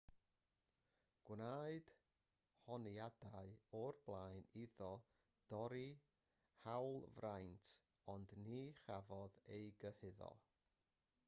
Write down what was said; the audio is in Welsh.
gwnaed honiadau o'r blaen iddo dorri hawlfraint ond ni chafodd ei gyhuddo